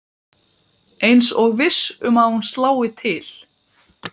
Eins og viss um að hún slái til.